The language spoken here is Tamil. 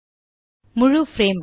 முழு பிரேம் ரங்கே